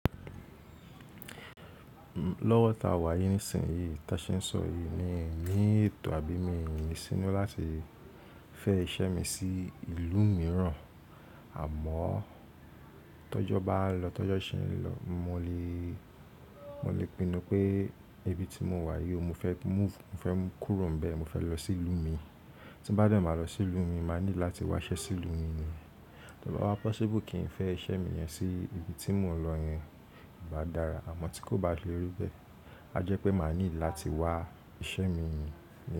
Lọ́wọ́ ta wà yí nísìnyí tí a ṣe ń sorọ yí ni, miní ètò àbí mii ni sínú láti fẹ́ iṣẹ́ mi sí ìlú mìíràn, àmọ́ tọ́jọ́ bá lọ, tọ́jọ́ ṣe ń lọ, mo lè, mo lè pinnu pé ibi tí mo wà yí, mo fẹ́ move, mo fẹ́ kúrò níbẹ̀, mo fẹ́ lọ sí ìlú mi. Tí bá de, máa lọ sí ìlú mi, máa need láti wá iṣẹ́ sí ìlú mi ni. Tí ó bá wá possible kí n fẹ́ iṣẹ́ mi yẹn sí ibi tí mò ń lọ yẹn, ó bá dára, àmọ́ tí kò bá le rí bẹ́ẹ̀, á jẹ́ pé máa need láti wá iṣẹ́ mi nì yen.